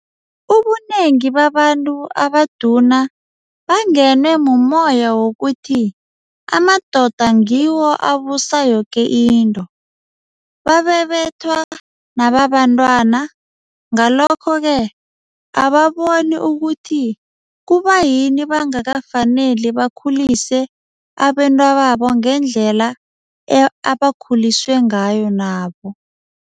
Ubunengi babantu abaduna bangenwe mummoya wokuthi amadoda ngiwo abusa yoke into. Babebethwa nababantwana, ngalokho-ke ababoni ukuthi kubayini bangakafaneli bakhulise abentwababo ngendlela abakhuliswe ngayo nabo.